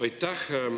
Aitäh!